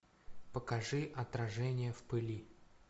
покажи отражение в пыли